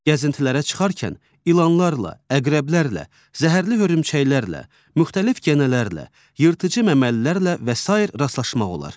Gəzintilərə çıxarkən ilanlarla, əqrəblərlə, zəhərli hörümçəklərlə, müxtəlif gənələrlə, yırtıcı məməlilərlə və sair rastlaşmaq olar.